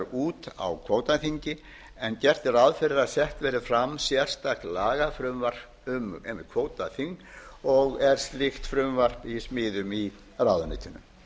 út á kvótaþingi en gert er ráð fyrir að sett verði fram sérstakt lagafrumvarp um einmitt kvótaþing og er slíkt frumvarp í smíðum í ráðuneytinu